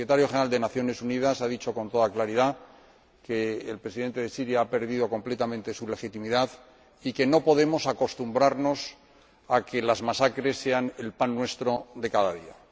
El Secretario General de las Naciones Unidas ha dicho con toda claridad que el Presidente de Siria ha perdido completamente su legitimidad y que no podemos acostumbrarnos a que las masacres sean el pan nuestro de cada día.